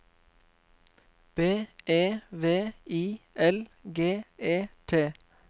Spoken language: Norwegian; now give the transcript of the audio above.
B E V I L G E T